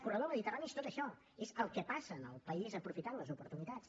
corredor mediterrani és tot això és el que passa en el país aprofitant les oportunitats